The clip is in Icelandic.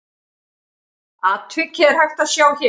Atvikið er hægt að sjá hér.